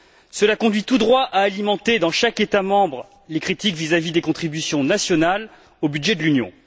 Cela conduit tout droit à alimenter dans chaque État membre les critiques vis à vis des contributions nationales au budget de l'Union.